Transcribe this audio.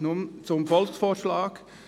Nun zum Volksvorschlag: